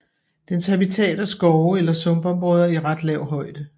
Dens habitat er skove eller sumpområder i ret lav højde